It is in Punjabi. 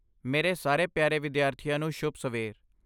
ਮੇਰੇ ਸਾਰੇ ਪਿਆਰੇ ਵਿਦਿਆਰਥੀਆਂ ਨੂੰ ਸ਼ੁਭ ਸਵੇਰ।